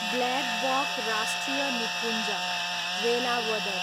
blackbuck राष्ट्रिय निकुञ्ज, वेलावदर